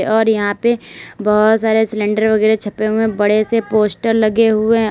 और यहां पे बहुत सारे सिलेंडर वगैरा छपे हुए बड़े से पोस्टर लगे हुए।